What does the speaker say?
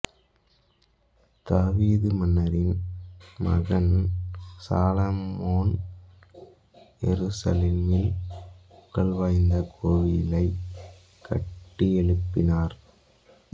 தாவீது மன்னரின் மகன் சாலமோன் எருசலேமில் புகழ்வாய்ந்த கோவிலைக் கட்டியெழுப்பினார்